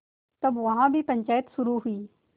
तब यहाँ भी पंचायत शुरू हुई